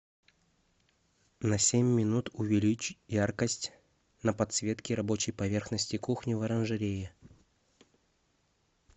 на семь минут увеличь яркость на подсветке рабочей поверхности кухни в оранжерее